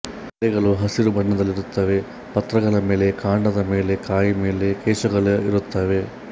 ಎಲೆಗಳು ಹಸಿರು ಬಣ್ಣದಲ್ಲಿರುತ್ತವೆ ಪತ್ರಗಳ ಮೇಲೆ ಕಾಂಡದ ಮೇಲೆ ಕಾಯಿ ಮೇಲೆ ಕೇಶಗಳು ಇರುತ್ತವೆ